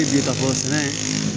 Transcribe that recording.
kafosɛnɛ